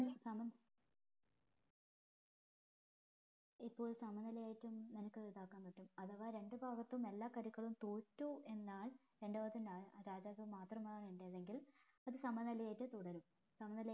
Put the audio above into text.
സമം ഇപ്പൊ സമ നില ആയിട്ടും നിനക്ക് ഇതാക്കാൻ പറ്റും അഥവാ രണ്ട് ഭാഗത്തും എല്ലാ കരുക്കളും തോറ്റു എന്നാൽ രണ്ട് ഭാഗത്തും ന്യായം അതായത് മാത്രമാണ് ഉണ്ടായതെങ്കിൽ അത് സമ നില ആയിട്ട് തുടരും